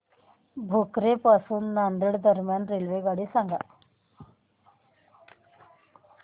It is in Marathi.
भोकर पासून नांदेड दरम्यान रेल्वेगाडी सांगा